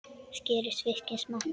Skerið fiskinn smátt.